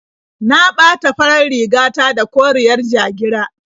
Na ɓata farar riga ta da koriyar ja-gira.